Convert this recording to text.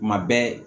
Kuma bɛɛ